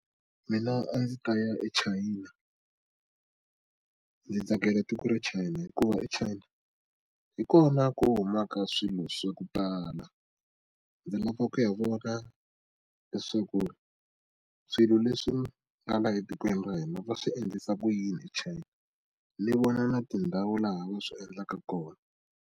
Mina a ndzi ta ya eChina ndzi tsakela tiko ra China hikuva eChina hi kona ku humaka swilo swa ku tala ndzi lava ku ya vona leswaku swilo leswi laha etikweni ra hina va swi endlisa ku yini aChina ni vona na tindhawu laha va swi endlaka kona.